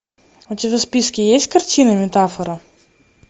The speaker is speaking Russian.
у тебя в списке есть картина метафора